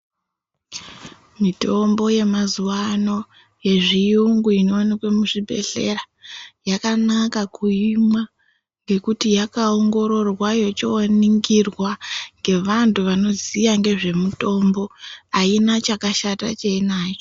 Mitombo yemazuwano yezviyungu inowanikwe muzvibhehleya yakanaka kuimwa nekuti yakaongororwa yocho ningirwa ngevantu vanoziva ngezve mutombo aina chakashata cheinacho